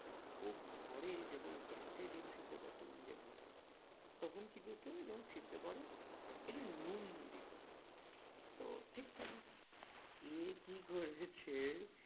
ও ঘরে যখন গ্যাসে ডিম সেদ্ধ করতো মানে নিজের ঘরে তখন কি করতো যখন সিদ্ধ করে একটু নুন দিতো তো ঠিক থাকে এ কি করেছে